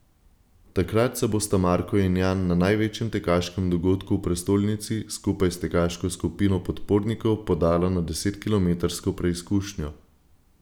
Takrat se bosta Marko in Jan na največjem tekaškem dogodku v prestolnici skupaj s tekaško skupino podpornikov podala na desetkilometrsko preizkušnjo.